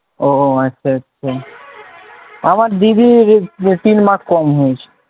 ও আচ্ছা আচ্ছা আমার দিদির তিন mark কম হয়েছিল,